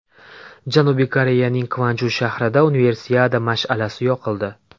Janubiy Koreyaning Kvanju shahrida Universiada mash’alasi yoqildi.